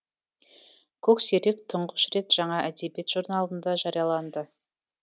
көксерек тұңғыш рет жаңа әдебиет журналында жарияланды